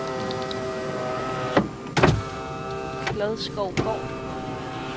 Klodskovgård